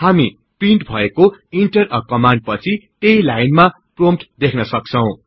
हामी प्रिन्ट भएको enter a command पछि त्यहि लाइनमा प्रोम्पट देख्न सक्छौ